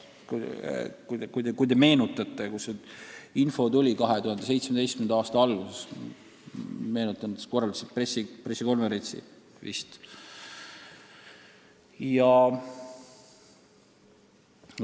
Te ehk mäletate, et kui see info 2017. aasta alguses tuli, siis nad korraldasid pressikonverentsi.